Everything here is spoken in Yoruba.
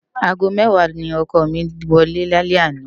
ágó mèwá ni òkò mi wòlé lálè àná